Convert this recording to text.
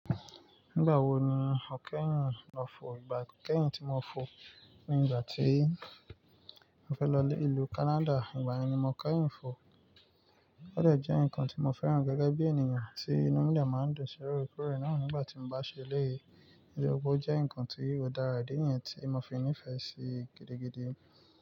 Nígbà wo ni o kẹ́yìn, o fò ìgbà kẹ́yìn tí mo fò ni ìgbà tí mo fẹ́ lọ lé ìlú Canada, ìgbà yẹn ni mo kẹ́yìn fò. Ó dẹ̀ jẹ́ ǹkan tí mo fẹ́ràn gẹ́gẹ́ bí ènìyàn tí núdúlù máa ń dùn sí rórò kúrò náà nígbà tí mo bá ṣẹlẹ̀ yìí. Ìdí ọkọ̀ jẹ́ ǹkan tí ó dára dé yẹn tí mo fi ní ìfẹ́ sí gidigidi.